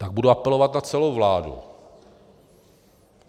Tak budu apelovat na celou vládu.